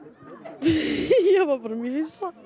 ég var bara mjög